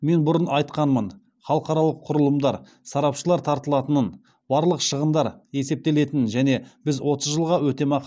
мен бұрын айтқанмын халықаралық құрылымдар сарапшылар тартылатынын барлық шығындар есептелетінін және біз отыз жылға өтемақы